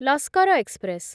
Lashkar express